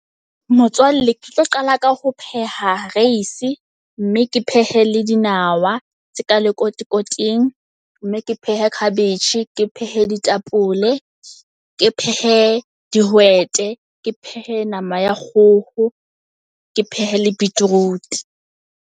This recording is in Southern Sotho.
Motswalle ke tlo qala ka ho pheha reisi mme ke phehe le dinawa tse ka lekotikoting. Mme ke pheha cabbage ke phehe ditapole, ke phehe dihwete ke phehe nama ya kgoho ke phehe le beetroot.